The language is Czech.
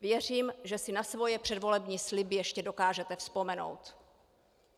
Věřím, že si na svoje předvolební sliby ještě dokážete vzpomenout.